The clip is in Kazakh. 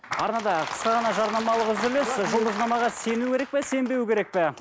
арнада қысқа ғана жарнамалық үзіліс ы жұлдызнамаға сену керек пе сенбеу керек пе